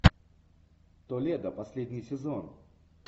толедо последний сезон